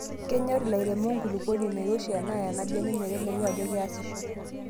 Kenyoor ilairemok enkulukuoni nairoshi enaa enabebek meteleku ajo keasishoo.